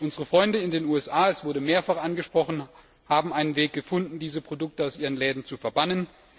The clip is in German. Unsere Freunde in den USA es wurde mehrfach angesprochen haben einen Weg gefunden, diese Produkte aus ihren Läden zu verbannen.